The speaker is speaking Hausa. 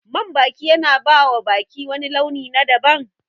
Man baki yana bawa baki wani launi na daban